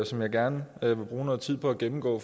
som jeg gerne vil bruge noget tid på at gennemgå